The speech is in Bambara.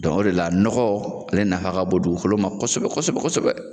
Dɔn o de la nɔgɔ ale nafa ka bon dugukolo ma kosɛbɛ kosɛbɛ kosɛbɛ